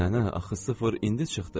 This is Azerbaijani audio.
Nənə, axı sıfır indi çıxdı.